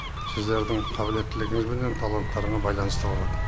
сіздердің қабілеттілігіңіз бенен таларттарыңа байланысты болады